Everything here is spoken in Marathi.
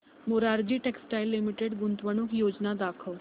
मोरारजी टेक्स्टाइल्स लिमिटेड गुंतवणूक योजना दाखव